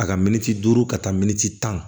A ka miniti duuru ka taa miniti tan